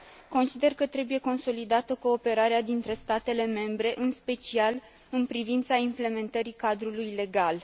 Consider că trebuie consolidată cooperarea dintre statele membre, în special în privința implementării cadrului legal.